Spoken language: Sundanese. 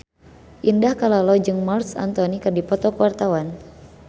Indah Kalalo jeung Marc Anthony keur dipoto ku wartawan